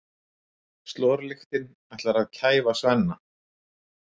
Slorlyktin ætlar að kæfa Svenna.